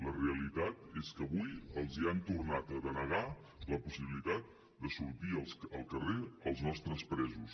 la realitat és que avui els han tornat a denegar la possibilitat de sortir al carrer als nostres presos